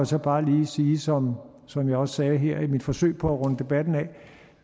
så bare lige sige som som jeg også sagde her i mit forsøg på at runde debatten af at